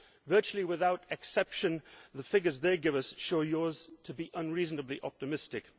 Virtually without exception, the figures they give us show yours to be unreasonably optimistic.